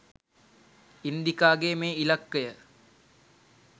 ඉන්දිකාගේ මේ ඉලක්කය?